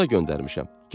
Oduna göndərmişəm.